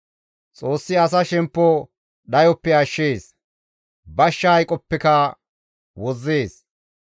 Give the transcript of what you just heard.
Xoossi asa shemppo dhayoppe ashshees; bashsha hayqoppeka wozzees.